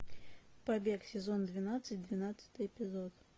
побег сезон двенадцать двенадцатый эпизод